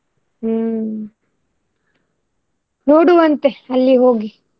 ಹ್ಮ್. ನೋಡುವ ಅಂತೆ ಅಲ್ಲಿ ಹೋಗಿ.